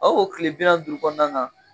A w'o tile bi naani duuru kɔɔna na